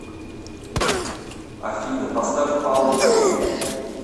афина поставь паул гэй